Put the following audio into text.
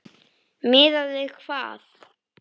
Miðað við hvað?